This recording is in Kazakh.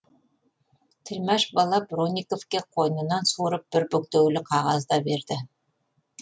тілмаш бала бронниковке қойнынан суырып бір бүктеулі қағаз да берді